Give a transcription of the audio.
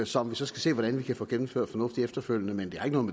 som vi så skal se hvordan vi kan få gennemført fornuftigt efterfølgende men